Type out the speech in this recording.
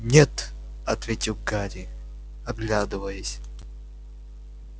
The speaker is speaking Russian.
нет ответил гарри оглядываясь